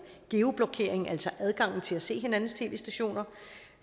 geoblokeringen altså adgangen til at se hinandens tv stationer